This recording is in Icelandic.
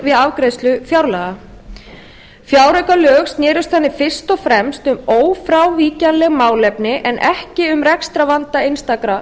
við afgreiðslu fjárlaga fjáraukalög snerust þannig fyrst og fremst um ófrávíkjanleg málefni en ekki um rekstrarvanda einstakra